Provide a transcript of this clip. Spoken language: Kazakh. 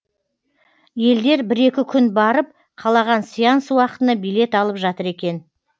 елдер бір екі күн барып қалаған сеанс уақытына билет алып жатыр екен